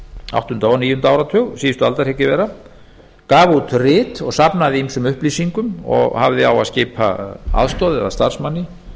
áttunda og níunda áratug síðustu aldar hygg ég vera og gaf út rit og safnaði ýmsum upplýsingum og hafði á að skipa aðstoð eða starfsmanni